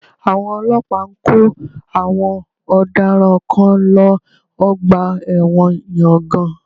Àwọn ọlọ́pàá ń kó àwọn ọ̀daràn kan lọ Ọgbà ẹ̀wọ̀n ìyangàn